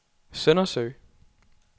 Søndersø